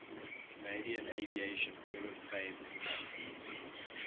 canadian aviation hall of fame inductees